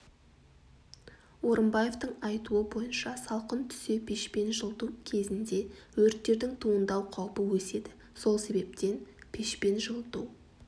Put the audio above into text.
орымбаевтың айтуы бойынша салқын түсе пешпен жылыту кзінде өрттердің туындау қаупі өседі сол себептен пешпен жылыту